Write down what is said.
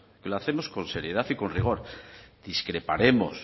y lo hacemos con seriedad y con rigor